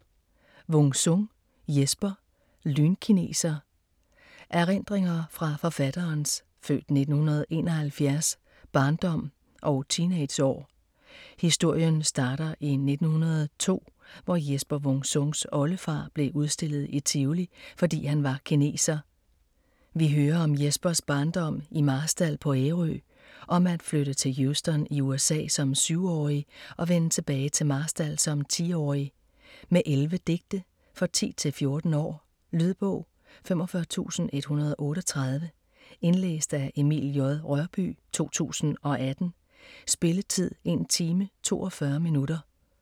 Wung-Sung, Jesper: Lynkineser Erindringer fra forfatterens (f.1971) barndom og teenageår. Historien starter i 1902, hvor Jesper Wung Sungs oldefar blev udstillet i Tivoli, fordi han var kineser. Vi hører om Jespers barndom i Marstal på Ærø, om at flytte til Houston i USA som 7-årig og vende tilbage til Marstal som 10-årig. Med 11 digte. For 10-14 år. Lydbog 45138 Indlæst af Emil J. Rørbye, 2018. Spilletid: 1 time, 42 minutter.